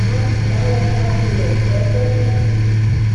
a sì bá wọn parí rẹ lọjọ náà